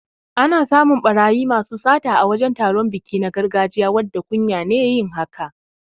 Ana samun ɓarayi masu sata a wajan taron biki na gargajiya, wanda kunya ne yin hakan